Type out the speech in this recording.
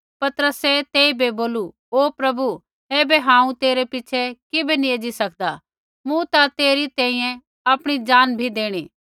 पतरसै तेइबै बोलू ओ प्रभु ऐबै हांऊँ तेरै पिछ़ै किबै नैंई एज़ी सकदा मूँ ता तेरी तैंईंयैं आपणी जान भी देणी